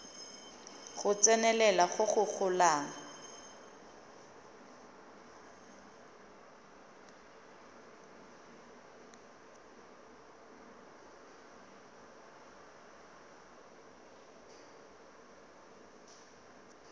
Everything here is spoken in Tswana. go tsenelela go go golang